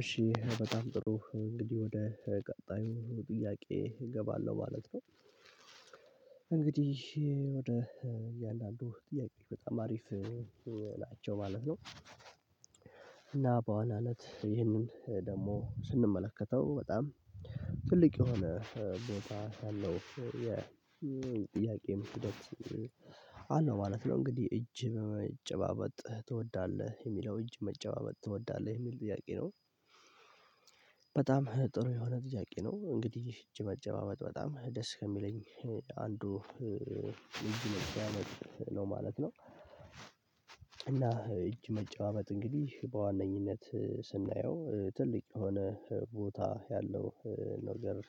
እሺ በጣም ጥሩ እንግዲህ ወደ ቀጣዩ ጥያቄ እገባለሁ ማለት ነው። እንግዲህ ወደ እያንዳንዱ ጥያቄ በጣም አሪፍ ናቸው ማለት ነው። እና በኋላ እለት ይህንን ደግሞ ስንመለከተው በጣም የሆነ ቦታ አለው የጥያቄም ሂደት አለው ማለት ነው እንግዲህ እጅ በመጨባበጥ ትወዳለህ የሚለው እጅ መጨባበጥ ትወዳለህ የሚል ጥያቄ ነው። በጣም ጥሩ የሆነ ጥያቄ ነው እንግዲህ እጅ መጨባበጥ በጣም ደስ ከሚለኝ አንዱ እጅ መጨባበጥ ነው ማለት ነው። እና እጅ መጨዋመጥ እንግዲህ በዋነኝነት ስናየው ትልቅ የሆነ ቦታ ያለው ነገር